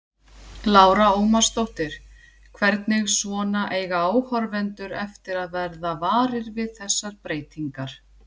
Lára Ómarsdóttir: Hvernig svona eiga áhorfendur eftir að verða varir við þessar breytingar?